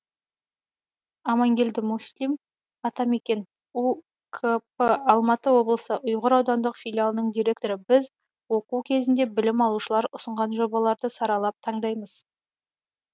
амангелді муслим атамекен ұкп алматы облысы ұйғыр аудандық филиалының директоры біз оқу кезінде білім алушылар ұсынған жобаларды саралап таңдаймыз